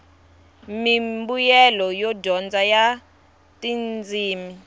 mimbuyelo yo dyondza ya tindzimi